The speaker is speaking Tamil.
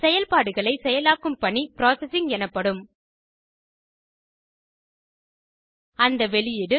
செயல்பாடுகளை செயலாக்கும் பணி ப்ராசசிங் எனப்படும் அந்த வெளியீடு